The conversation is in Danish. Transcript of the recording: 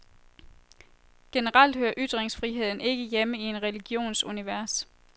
Generelt hører ytringsfriheden ikke hjemme i en religions univers.